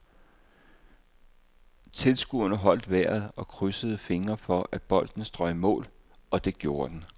Tilskuerne holdt vejret og krydsede fingre for, at bolden strøg i mål, og det gjorde den.